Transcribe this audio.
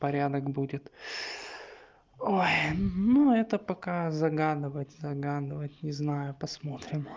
порядок будет ой ну это пока загадывать загадывать не знаю посмотрим